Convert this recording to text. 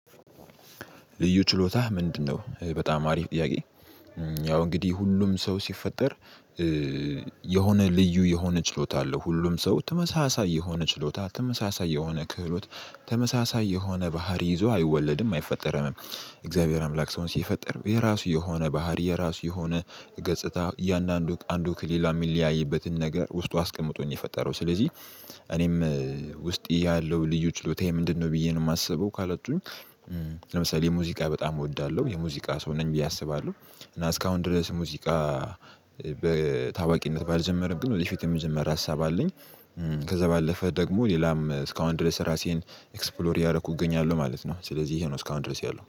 ልዩ ችሎታ ምንድነው? በጣም አሪፍ ጥያቄ ያው እንግዲህ ሁሉም ሰው ሲፈጠር የሆነ ልዩ የሆነ ችሎታ አለው። ሁሉም ሰው ተመሳሳይ የሆነ ችሎታ፣ ተመሳሳይ የሆነ ክህሎት፣ ተመሳሳይ የሆነ ባህሪ ይዞ አይወለድም አይፈጠርም። የእግዚአብሔር አምላክ ሰውን ሲፈጠር የራሱ የሆነ ባህሪ፣ የራሱ የሆነ ገጽታ እያንዳንዱ አንዱ ክሊላ የሚለያይበትን ነገር ውስጡ አስቀምጦ ነው የፈጠረው። ስለዚህ እኔም ውስጥ ያለው ልዩ ችሎታ ምንድነው ብዬ ነው የማስበው ካለቱኝ ለምሳሌ ሙዚቃ በጣም እወዳለሁ የሙዚቃ ሰው ነኝ ብዬ አስባለሁ እና እስካሁን ድረስ ሙዚቃ በታዋቂነት ባልጀመረም ግን ወደፊት የምጀምር ሀሳብ አለኝ ከዛ ባለፈ ደግሞ ሌላም እስካሁን ድረስ ራሴን ኤክስፕሎር ያደረኩ እገኛለሁ ማለት ነው ስለዚህ ይሄ ነው እስካሁን ድረስ ያለው።